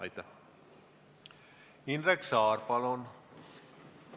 Indrek Saar, palun!